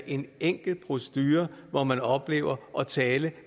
en enklere procedure hvor man oplever at tale